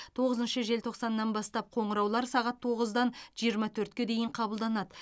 тоғызыншы желтоқсаннан бастап қоңыраулар сағат тоғыздан жиырма төртке дейін қабылданады